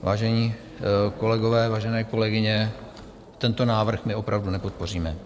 Vážení kolegové, vážené kolegyně, tento návrh my opravdu nepodpoříme.